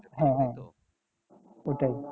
হ্যাঁ হ্যাঁ ওটাই